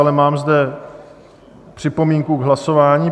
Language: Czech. Ale mám zde připomínku k hlasování.